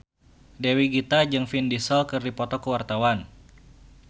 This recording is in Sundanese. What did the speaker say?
Dewi Gita jeung Vin Diesel keur dipoto ku wartawan